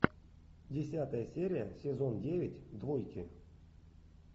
десятая серия сезон девять двойки